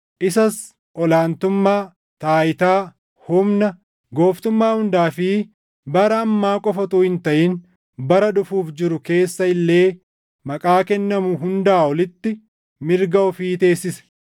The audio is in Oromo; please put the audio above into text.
isas ol aantummaa, taayitaa, humna, gooftummaa hundaa fi bara ammaa qofa utuu hin taʼin bara dhufuuf jiru keessa illee maqaa kennamu hundaa olitti mirga ofii teessise.